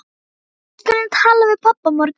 Við skulum tala við pabba á morgun.